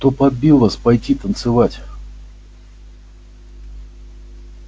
кто подбил вас пойти танцевать